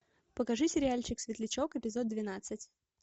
покажи сериальчик светлячок эпизод двенадцать